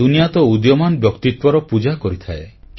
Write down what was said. ଦୁନିଆ ତ ଉଦୀୟମାନ ବ୍ୟକ୍ତିତ୍ୱର ପୂଜା କରିଥାଏ